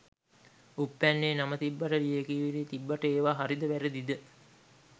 උප්පැන්නෙ නම තිබ්බට ලියකියවිලි තිබ්බට ඒව හරිද වැරදිද